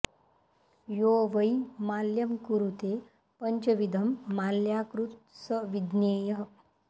यो वै माल्यं कुरुते पङ्चविधं माल्याकृत् स विज्ञेयः